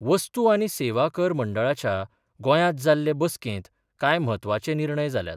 वस्तू आनी सेवा कर मंडळाच्या गोंयांत जाल्ले बसकेंत कांय म्हत्वाचे निर्णय जाल्यात.